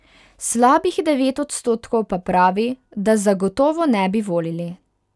Slabih devet odstotkov pa pravi, da zagotovo ne bi volili.